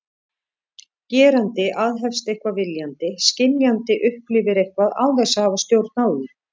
Gerandi aðhefst eitthvað viljandi, skynjandi upplifir eitthvað án þess að hafa stjórn á því.